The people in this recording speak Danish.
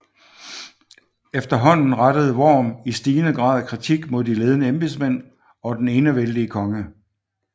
Efterhånden rettede Worm i stigende grad kritik mod de ledende embedsmænd og den enevældige konge